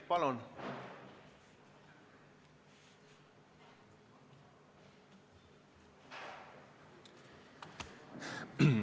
Palun!